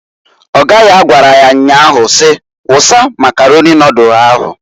Ọga ya gwara ya nnyaa si, "Wusa Makaroni nodulu ahụǃ